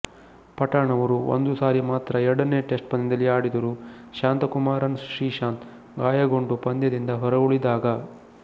ಪಠಾಣ ಅವರು ಒಂದು ಸಾರಿ ಮಾತ್ರ ಎರಡನೆಯ ಟೆಸ್ಟ್ ಪಂದ್ಯದಲ್ಲಿ ಆಡಿದರು ಶಾಂತಕುಮಾರನ್ ಶ್ರೀಶಾಂತ್ ಗಾಯಗೊಂಡು ಪಂದ್ಯದಿಂದ ಹೊರಗುಳಿದಾಗ